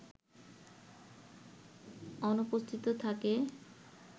অনুপস্থিত থাকে